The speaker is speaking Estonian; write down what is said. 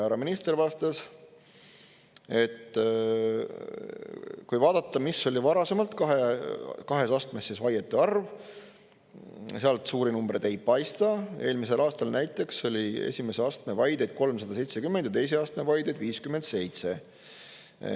Härra minister vastas, et kui vaadata, mis oli varasemalt kahes astmes vaiete arv, sealt suuri numbreid ei paista, eelmisel aastal näiteks oli esimese astme vaideid 370 ja teise astme vaideid 57.